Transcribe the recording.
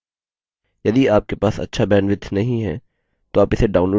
यदि आपके पास अच्छा bandwidth नहीं है तो आप इसे download करके देख सकते हैं